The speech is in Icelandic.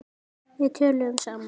Við töluðum saman.